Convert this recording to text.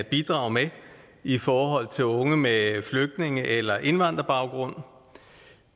bidrage med i forhold til unge med flygtninge eller indvandrerbaggrund